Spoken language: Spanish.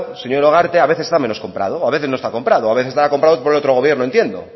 señora ugarte y a veces está menos comprado o a veces no está comprado a veces está comprado por otro gobierno entiendo